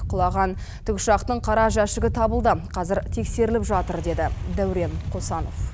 құлаған тікұшақтың қара жәшігі табылды қазір тексеріліп жатыр деді дәурен қосанов